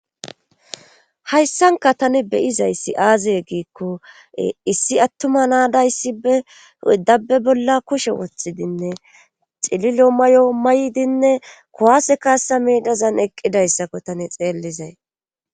hayssanka tani beyizayssi aaze giikko issi attuma naadayssibe dabbe bolla kushe wothidinne xililo mayo maydinne kowase kaassa miidazan eqqidayssakko tani xeellizay